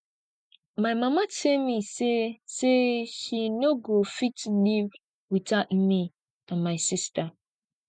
my mama tell me say say she no go fit live without me and my sister